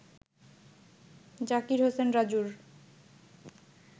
জাকির হোসেন রাজুর